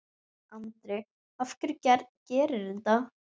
Andri: Af hverju gerirðu það?